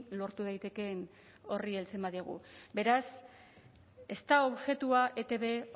lortu daitekeen horri heltzen badiogu beraz ez da objetua etb